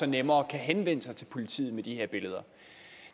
nemmere kan henvende sig til politiet med de her billeder